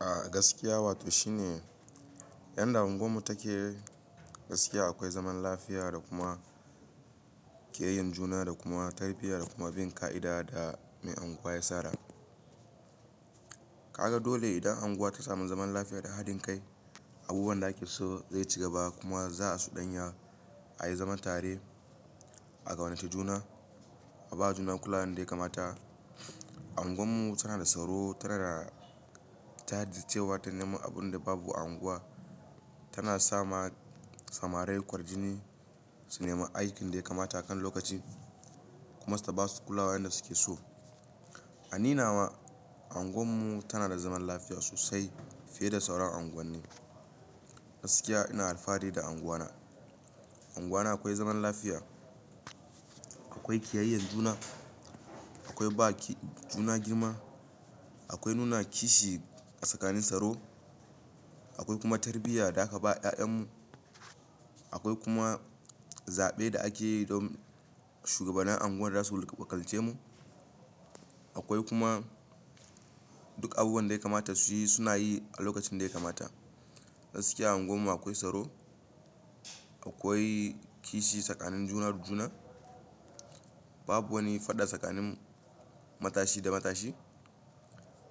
A gaskiya, wato shi ne yadda unguwarmu take. Gaskiya akwai zaman lafiya da kuma ƙiyayyan juna da kuma tarbiyya da kuma bin ƙa'ida da mai unguwa ya tsara. Ka ga dole idan unguwa ta sami zaman lafiya da haɗin kai, abubuwan da ake so zai ci gaba kuma za a suɗanya a yi zaman tare, a kaunace juna, a ba juna kulawa yadda ya kamata. Unguwarmu tana da tsaro, tana, ta jajircewa ta nema abun da babu a unguwa, tana sa ma samarai kwarjini su nema aikin dai kamata kan lokaci kuma su ba su kulawa inda suke so. A ni nawa unguwarmu tana da zaman lafiya sosai fiye da sauran unguwanni. Gaskiya ina alfahari da unguwana. Unguwana akwai zaman lafiya, akwai ƙiyayyan juna, akwai ba juna girma, akwai nuna kishi tsakanin tsaro, akwai kuma tarbiyya da aka ba ya'yanmu, akwai kuma zaɓe da ake yi don shugabannin unguwar da za su wakilce mu, akwai kuma duk abubuwan da ya kamata su yi suna yi a lokacin dai kamata. Gaskiya a unguwarmu akwai tsaro, akwai kishi tsakanin juna da juna. Babu wani fada tsakanin matashi da matashi.